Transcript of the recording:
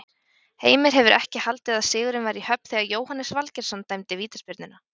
Heimir hefur ekki haldið að sigurinn væri í höfn þegar Jóhannes Valgeirsson dæmdi vítaspyrnuna?